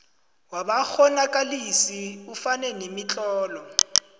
wabakghonakalisi ufake nemitlolo